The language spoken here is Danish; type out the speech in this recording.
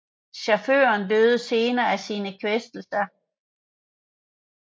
Chaufføren døde senere af sine kvæstelser